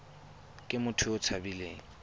ke motho yo o tshabileng